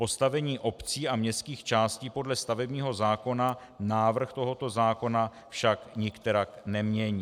Postavení obcí a městských částí podle stavebního zákona návrh tohoto zákona však nikterak nemění.